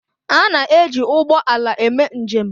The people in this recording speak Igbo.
A na-eji ụgbọ ala eme njem.